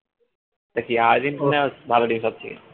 তা কি আর্জেন্টিনা ভালো নাকি সবচেয়ে